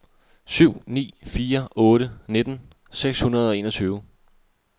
syv ni fire otte nitten seks hundrede og enogtyve